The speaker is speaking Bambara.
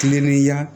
Kilenniya